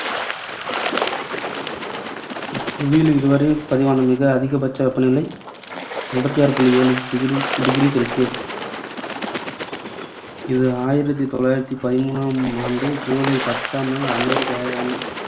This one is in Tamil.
புவியில் இதுவரை பதிவான மிக அதிகபட்ச வெப்ப நிலை ஐம்பத்தி ஆறு புள்ளி ஏழு degree celsius இது ஆயிரத்து தொள்ளாயிரத்து பதின்மூன்றாம் ஆண்டு ஜுலை பத்தாம் நாள் அமெரிக்க அஹ்